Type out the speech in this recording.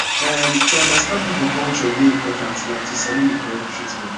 um to understand people culture dey important like to sabi the correct treatment